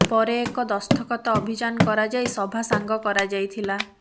ପରେ ଏକ ଦସ୍ତଖତ ଅଭିଯାନ କରାଯାଇ ସଭା ସାଙ୍ଗ କରାଯାଇ ଥିଲା